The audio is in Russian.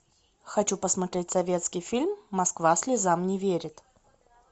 хочу посмотреть советский фильм москва слезам не верит